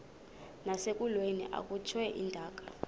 nasekulweni akhutshwe intaka